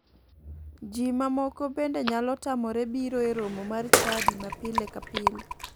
Ji ma moko bende nyalo tamore biro e romo mar chadi ma pile ka pile.